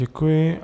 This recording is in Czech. Děkuji.